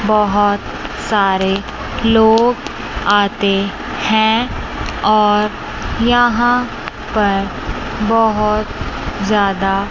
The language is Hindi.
बहुत सारे लोग आते हैं और यहां पर बहुत ज्यादा।